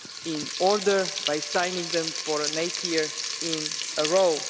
in order by signing them for an eighth year in a row.